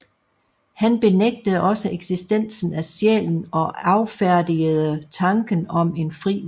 Han benægtede også eksistensen af sjælen og affærdigede tanken om en fri vilje